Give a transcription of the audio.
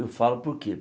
Eu falo por quê?